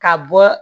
Ka bɔ